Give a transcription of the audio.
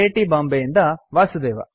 T Bombay ಯಿಂದ ವಾಸುದೇವ